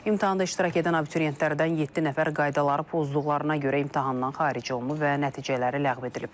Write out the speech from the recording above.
İmtahanda iştirak edən abituriyentlərdən yeddi nəfər qaydaları pozduqlarına görə imtahandan xaric olunub və nəticələri ləğv edilib.